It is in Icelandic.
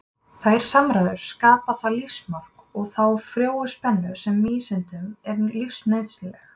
Þær samræður skapa það lífsmark og þá frjóu spennu sem vísindunum er lífsnauðsynleg.